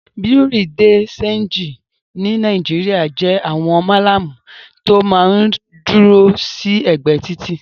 Bùréáù de ṣéńjì ní Nàìjíríà jẹ́ àwọn Málàmù tó máa ń dúró sí ẹ̀gbẹ́ títì.